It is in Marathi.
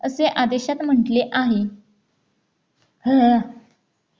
असे आदेशात म्हटले आहे